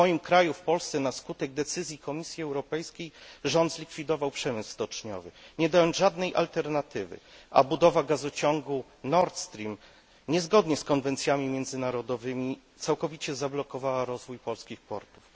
W moim kraju, w Polsce, na skutek decyzji Komisji Europejskiej rząd zlikwidował przemysł stoczniowy, nie dając żadnej alternatywy, a budowa gazociągu Nordstream, niezgodnie z konwencjami międzynarodowymi, całkowicie zablokowała rozwój polskich portów.